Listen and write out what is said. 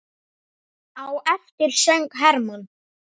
Á eftir söng Hermann